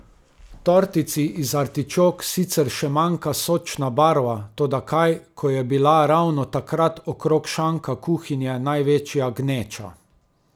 Tortici iz artičok sicer še manjka sočna barva, toda kaj, ko je bila ravno takrat okrog šanka kuhinje največja gneča.